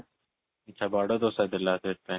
ଆଚ୍ଛା ବଡ ଦୋସାଥିଲା ସେଥିପାଇଁ